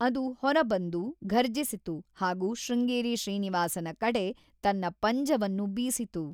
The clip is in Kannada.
ಅದು ಹೊರ ಬಂದು, ಘರ್ಜಿಸಿತು ಹಾಗೂ ಶೃಂಗೇರಿ ಶ್ರೀನಿವಾಸನ ಕಡೆ ತನ್ನ ಪಂಜವನ್ನು ಬೀಸಿತು.